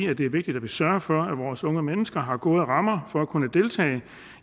at det er vigtigt at vi sørger for at vores unge mennesker har gode rammer for at kunne deltage